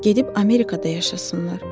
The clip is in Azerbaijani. Gedib Amerikada yaşasınlar.